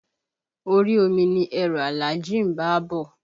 Orí omi ni ẹrù Alhaji ń bá á bọ̀